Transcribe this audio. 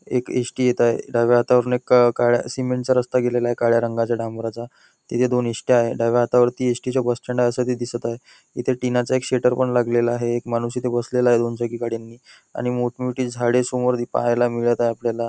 एक एस.टी. येत आहे आहे डाव्या हातावरुन एक काळ्या सिमेंट चा रस्ता गेलेला आहे काळ्या रंगाचा डांबराचा तिथे हे दोन एस.ट्या. आहे डाव्या हातावरती एस.टी. चे बस स्टँड आहे जे दिसत आहे इथे टिना चा एक शटर पण लागलेला आहे एक माणूस बसलेला आहे दोन चाकी गाडीनी आणि मोठमोठी झाडे समोर पाहायला मिळत आहे आपल्याला.